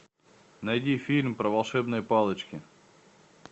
найди фильм про волшебные палочки